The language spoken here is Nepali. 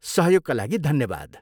सहयोगका लागि धन्यवाद।